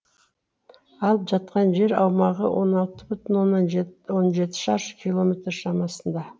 алып жатқан жер аумағы он алты бүтін он жеті шаршы километр шамасында